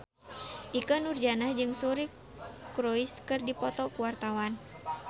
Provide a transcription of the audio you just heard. Ikke Nurjanah jeung Suri Cruise keur dipoto ku wartawan